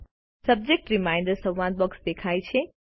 subject reminder સંવાદ box દેખાય છે